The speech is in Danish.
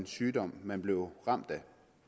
sygdom man blev ramt af